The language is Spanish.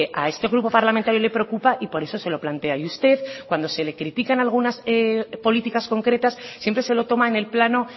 a este grupo parlamentario le preocupa y por eso se lo plantea y usted cuando se les implica en algunas políticas concretas siempre se lo toman en plano